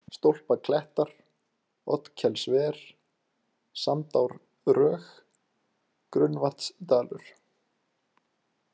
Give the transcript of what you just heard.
Stólpaklettar, Oddkelsver, Sandárdrög, Grunnavatnsdalur